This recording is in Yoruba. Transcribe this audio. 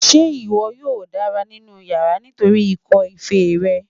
Ṣe iwọ yoo dara ninu yara nitori ikọ-fèé rẹ?